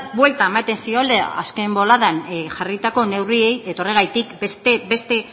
vuelta ematen ziola azken boladan jarritako neurriei eta horregatik beste